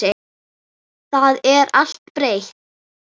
Það er allt breytt.